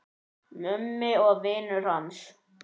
Mummi og vinir hans.